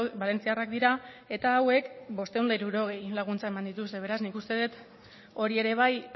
valentziarrak dira eta hauek bostehun eta hirurogei laguntza eman dituzte beraz nik uste dut hori ere bai